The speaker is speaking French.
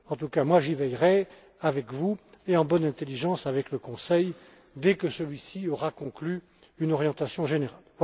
En tout cas, moi, j'y veillerai avec vous et en bonne intelligence avec le Conseil, dès que celui ci aura conclu une orientation générale.